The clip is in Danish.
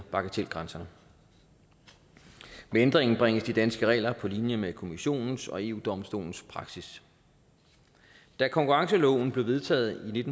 bagatelgrænserne ved ændringen bringes de danske regler på linje med kommissionens og eu domstolens praksis da konkurrenceloven blev vedtaget i